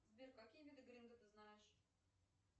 сбер какие виды гринды ты знаешь